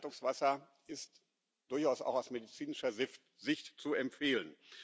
Leitungswasser ist durchaus auch aus medizinischer Sicht zu empfehlen.